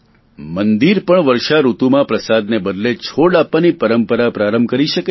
મંદિર પણ આ વર્ષાઋતુમાં પ્રસાદના બદલે છોડ આપવાની પરંપરા પ્રારંભ કરી શકે છે